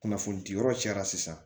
Kunnafoni di yɔrɔ cɛ la sisan